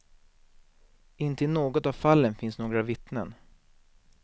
Inte i något av fallen finns några vittnen.